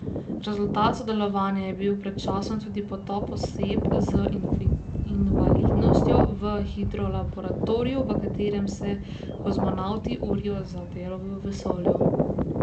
Rezultat sodelovanja je bil pred časom tudi potop oseb z invalidnostjo v hidrolaboratoriju, v katerem se kozmonavti urijo za delo v vesolju.